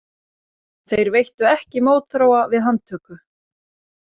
Þeir veittu ekki mótþróa við handtöku